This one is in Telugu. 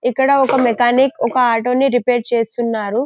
ఇక్కడ ఒక మెకానిక్ ఒక ఆటో ని రిపేర్ చేస్తున్నారు.